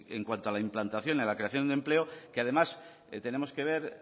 en cuanto a la implantación en la creación de empleo que además tenemos que ver